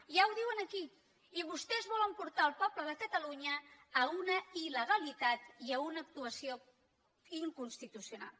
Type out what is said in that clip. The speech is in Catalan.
ja ho diu aquí i vostès volen portar el poble de catalunya a una il·legalitat i a una actuació inconstitucional